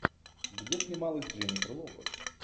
где снималась дженифер лопес